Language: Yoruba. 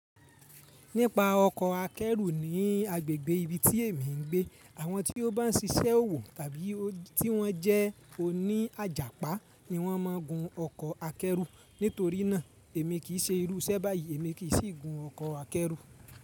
Nípa ọkọ̀ akẹ́rù ní agbègbè ibi tí èmi ń gbé, àwọn tí ó bá ń ṣiṣẹ́ òwò tàbí tí wọ́n jẹ́ oní àjàpá ni wọ́n máa ń gun ọkọ̀ akẹ́rù. Nítorí náà, èmi kì í ṣe irú iṣẹ́ báyìí, èmi kì í sì gun ọkọ̀ akẹ́rù.